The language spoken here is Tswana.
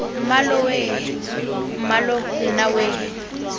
mmalooo weeee mmaloo nna weee